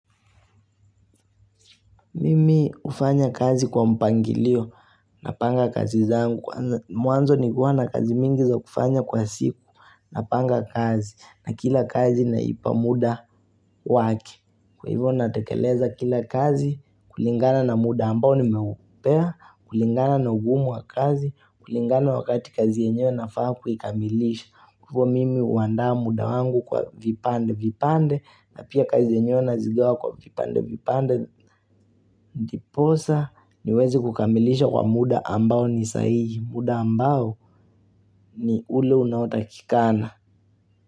Mimi hufanya kazi kwa mpangilio napanga kazi zangu. Mwanzo ni kuwa na kazi mingi za kufanya kwa siku napanga kazi na kila kazi naipa muda wake. Kwa hivyo natekeleza kila kazi, kulingana na muda ambao nimeupea, kulingana na ugumu wa kazi, kulingana wakati kazi yenyewe nafaa kuikamilisha. Kwa hivyo mimi huandaa muda wangu kwa vipande vipande na pia kazi yenyewe nazigawa kwa vipande vipande. Ndiposa niweze kukamilisha kwa muda ambao nisahihi. Muda ambao ni ule unaotakikana.